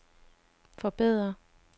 forbedre